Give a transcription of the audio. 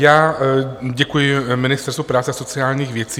Já děkuju Ministerstvu práce a sociálních věcí.